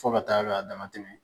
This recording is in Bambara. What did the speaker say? Fɔ ka taa k'a dama tɛmɛ.